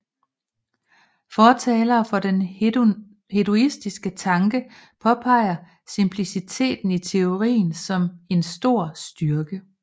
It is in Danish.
Fortalere for den hedonistiske tanke påpeger simpliciteten i teorien som en stor styrke